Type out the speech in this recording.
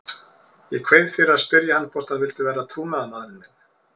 Ég kveið fyrir að spyrja hann hvort hann vildi vera trúnaðarmaðurinn minn.